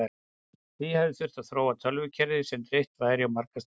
því hafi þurft að þróa tölvukerfi sem dreift væri á marga staði